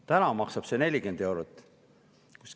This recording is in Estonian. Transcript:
Täna maksab see 40 eurot.